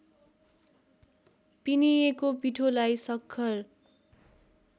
पिनिएको पिठोलाई सक्खर